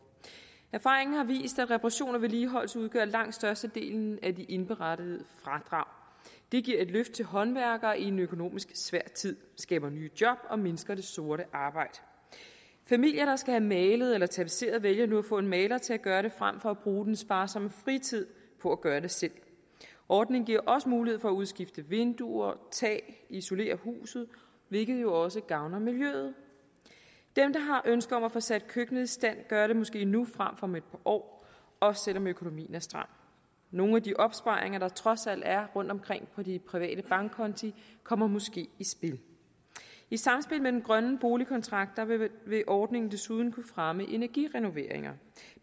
erfaringerne har vist at reparation og vedligeholdelse udgør langt størstedelen af de indberettede fradrag det giver et løft til håndværkere i en økonomisk svær tid skaber nye job og mindsker det sorte arbejde familier der skal have malet eller tapetseret vælger nu at få en maler til at gøre det frem for at bruge den sparsomme fritid på at gøre det selv ordningen giver også mulighed for at udskifte vinduer tag og isolere huset hvilket jo også gavner miljøet dem der har ønske om at få sat køkkenet i stand gør det måske nu frem om et par år også selv om økonomien er stram nogle af de opsparinger der trods alt er rundtomkring på de private bankkonti kommer måske i spil i samspil med den grønne boligkontrakt vil ordningen desuden kunne fremme energirenoveringer